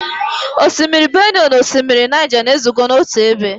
Osimiri Benue na osimiri Niger na-ezukọ n'otu ebe.